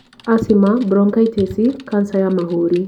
Acima, bronkaitĩci, kanza ya mahũri